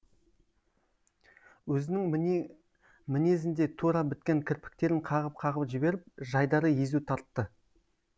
өзінің мінезіндей тура біткен кірпіктерін қағып қағып жіберіп жайдары езу тартты